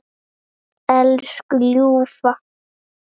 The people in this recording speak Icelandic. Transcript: Elsku ljúfa.